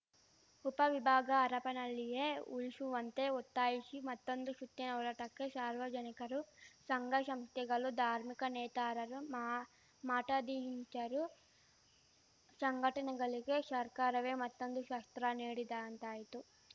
ಉಪ ವಿಭಾಗ ಹರಪನಹಳ್ಳಿಯೇ ಉಳಿಶುವಂತೆ ಒತ್ತಾಯಿಶಿ ಮತ್ತೊಂದು ಶುತ್ತಿನ ಹೋರಾಟಕ್ಕೆ ಶಾರ್ವಜನಿಕರು ಶಂಘಶಂಶ್ತೆಗಳು ಧಾರ್ಮಿಕ ನೇತಾರರು ಮ ಮಠಾಧೀಶರು ಶಂಘಟನೆಗಳಿಗೆ ಶರ್ಕಾರವೇ ಮತ್ತೊಂದು ಶಸ್ತ್ರ ನೀಡಿದಂತಾಯ್ತು